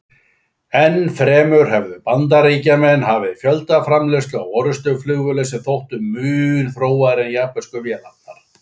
Enn fremur höfðu Bandaríkjamenn hafið fjöldaframleiðslu á orrustuflugvélum sem þóttu mun þróaðri en japönsku vélarnar.